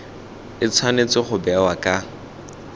e tshwanetse go bewa ka